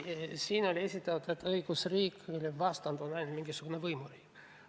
Siin räägiti õigusriigist, mille vastand on ainult mingisugune võimuriik.